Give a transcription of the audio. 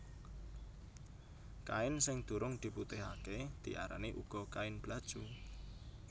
Kain sing durung diputihaké diarani uga kain blacu